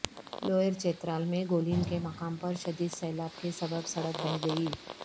lower Chitral میں گولین کے مقام پر شدید سیلاب کے سبب سڑک بہہ گئی